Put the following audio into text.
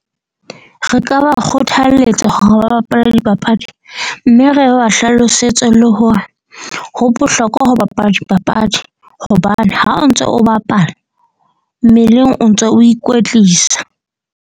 Re ka ba kgothaletsa hore ba bapale dipapadi. Mme re ba hlalosetse le hore ho bohlokwa ho bapala dipapadi. Hobane ha o ntso o bapala mmeleng o ntso o ikwetlisa.